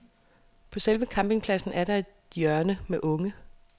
På selve campingpladsen er der et hjørne med unge.